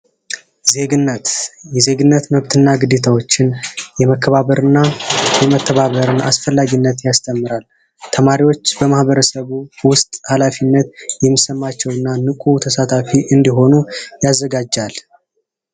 ዜግነት የዜግነት መብትና ግዴታዎችን የመከባበር እና መተባበርን አስፈላጊነት ያስተምራል ተማሪዎች በማህበረሰቡ ውስጥ ሀላፊነት የሚሰማቸው እንዲሆኑ ያዘጋጃል።